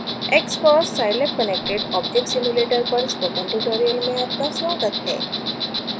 xcos: scilab connected object simulator पर spoken tutorial में आपका स्वागत है